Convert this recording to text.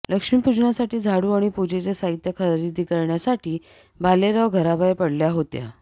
लक्ष्मी पूजनासाठी झाडू आणि पूजेचं साहित्य खरेदी करण्यासाठी भालेराव घराबाहेर पडल्या होत्या